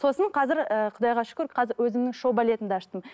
сосын қазір ыыы құдайға шүкір өзімнің шоу балетімді аштым